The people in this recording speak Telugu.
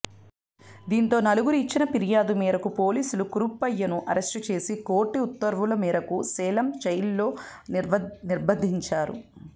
దీంతో నలుగురు ఇచ్చిన ఫిర్యాదు మేరకు పోలీసులు కరుప్పయ్యను అరెస్టు చేసి కోర్టు ఉత్తర్వుల మేరకు సేలం జైలులో నిర్బంధించారు